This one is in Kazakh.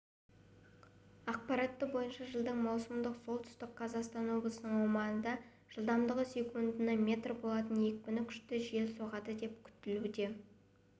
ақпараты бойынша жылдың маусымында солтүстік қазақстан облысының аумағында жылдамдығы секундына метр болатын екпіні күшті жел соғады деп күтілуде